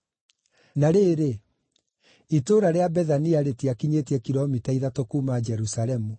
Na rĩrĩ, itũũra rĩa Bethania rĩtiakinyĩtie kilomita ithatũ kuuma Jerusalemu,